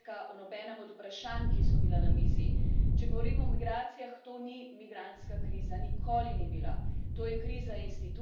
Nobenega napredka o nobenem od vprašanj, ki so bila na mizi. Če govorimo o migracijah, to ni migrantska kriza, nikoli ni bila.